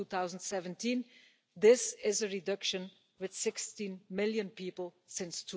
2017. This is a reduction of 16 million people since